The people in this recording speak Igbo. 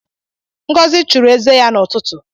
Ngozi chụrụ eze ya n’ụtụtụ